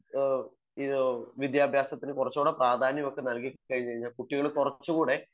English വിദ്യാഭ്യാസത്തിനു പ്രാധാന്യം കൊടുത്തു കഴിഞ്ഞാൽ കുട്ടികൾ കുറച്ചു കൂടെ